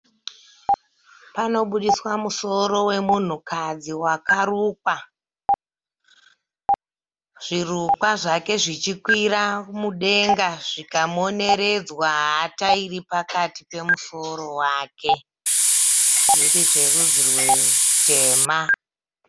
Panoburitswa musoro wemunhukadzi wakarukwa zvirukwa zvake zvichikwira mudenga zvikamoneredzwa hata iri pakati pemusoro wake zviri zverudzi rutema.